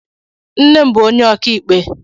Nne m bụ onye ọkàikpe.